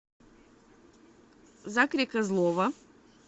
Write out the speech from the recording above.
закре козлова